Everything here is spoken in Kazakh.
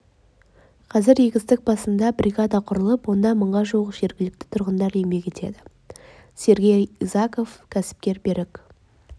қазір егістік басында бригада құрылып онда мыңға жуық жергілікті тұрғындар еңбек етеді сергей изаков кәсіпкер берік